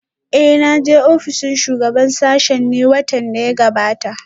Eh na je ofishin shugaban sashen ne watan da ya gabata?